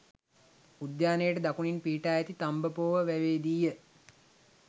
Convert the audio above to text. උද්‍යානයට දකුණින් පිහිටා ඇති තබ්බෝව වැවේදීය.